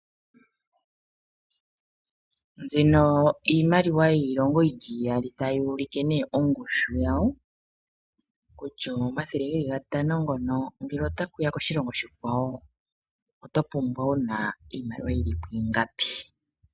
Nzino iimaliwa yiilongo yili iyali tayi ulike nee ongushu yawo, kutya omathele geli gatano ngono ngele otashiya koshilongo oshikawo oto pumbwa wuna iimaliwa yili po ingapi?